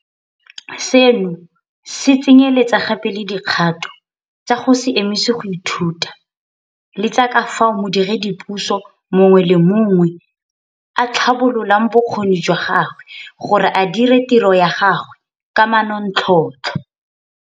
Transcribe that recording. Seno se tsenyeletsa gape le dikgato tsa go se emise go ithuta le tsa ka fao modiredipuso mongwe le mongwe a tlhabololang bokgoni jwa gagwe gore a dire tiro ya gagwe ka manontlhotlho.